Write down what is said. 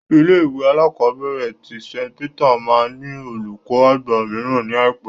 Ilé-ìwé alákọ̀ọ́bẹ̀rẹ̀ tí St Peter máa ní olùkó àgbà mìíràn ní àìpé.